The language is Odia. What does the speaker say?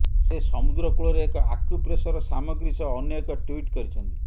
ସେ ସମୁଦ୍ରକୂଳରେ ଏକ ଆକ୍ୟୁପ୍ରେସର ସାମଗ୍ରୀ ସହ ଅନ୍ୟ ଏକ ଟ୍ୱିଟ୍ କରିଛନ୍ତି